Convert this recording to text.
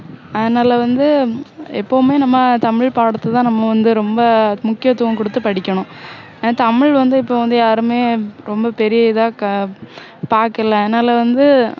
அதனால வந்து எப்போவுமே நம்ம தமிழ் பாடத்துலதான் நம்ம வந்து ரொம்ப முக்கியத்துவம் கொடுத்து படிக்கணும் ஆனா தமிழ் வந்து இப்போ வந்து யாருமே ரொம்ப பெரிய இதா பாக்கல அதனால வந்து